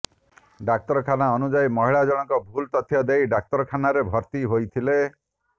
ଡାକ୍ତରଖାନା ଅନୁଯାୟୀ ମହିଳା ଜଣକ ଭୁଲ ତଥ୍ୟ ଦେଇ ଡାକ୍ତରଖାନାରେ ଭର୍ତ୍ତି ହୋଇଥିଲେ